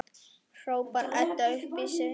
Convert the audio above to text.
hrópar Edda upp yfir sig.